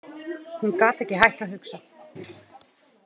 Hún gat ekki hætt að hugsa.